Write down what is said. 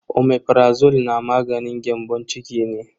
Omeprazole na maganin gyambon ciki ne.